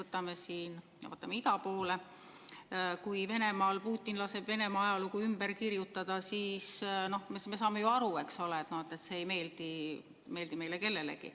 Näiteks vaatame ida poole, kui Putin laseb Venemaa ajalugu ümber kirjutada, siis me saame ju aru, eks ole, et see ei meeldi meile kellelegi.